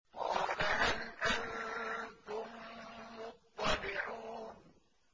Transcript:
قَالَ هَلْ أَنتُم مُّطَّلِعُونَ